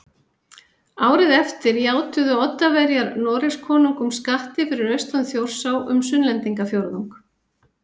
Árið eftir játuðu Oddaverjar Noregskonungum skatti fyrir austan Þjórsá um Sunnlendingafjórðung